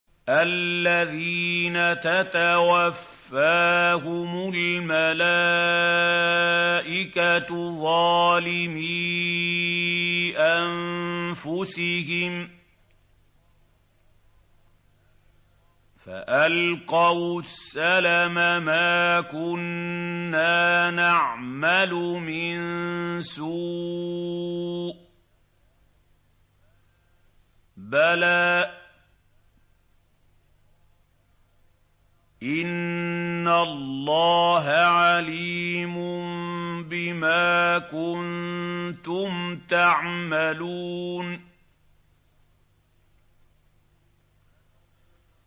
الَّذِينَ تَتَوَفَّاهُمُ الْمَلَائِكَةُ ظَالِمِي أَنفُسِهِمْ ۖ فَأَلْقَوُا السَّلَمَ مَا كُنَّا نَعْمَلُ مِن سُوءٍ ۚ بَلَىٰ إِنَّ اللَّهَ عَلِيمٌ بِمَا كُنتُمْ تَعْمَلُونَ